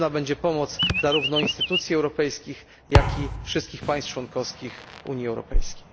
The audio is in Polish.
Potrzebna będzie pomoc zarówno instytucji europejskich, jak i wszystkich państw członkowskich Unii Europejskiej.